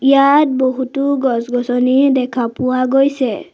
ইয়াত বহুতো গছ-গছনি দেখা পোৱা গৈছে।